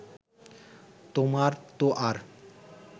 তোমার তো আর